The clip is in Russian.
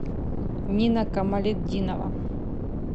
нина камалетдинова